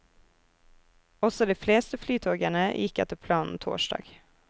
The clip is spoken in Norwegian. Også de fleste flytogene gikk etter planen torsdag.